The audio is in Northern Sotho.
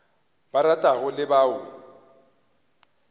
ba ratago le ba o